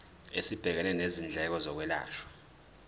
esibhekene nezindleko zokwelashwa